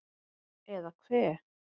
Eða hve